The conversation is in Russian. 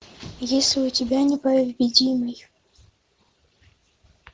есть ли у тебя непобедимый